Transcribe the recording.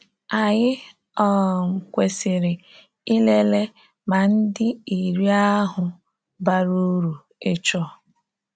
Anyị um kwesịrị ịlele ma ndị iri ahụ bara uru ịchọ.